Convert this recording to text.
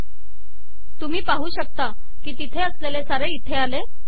तुम्ही पाहू शकता की तिथे असलेले सारे इथे आले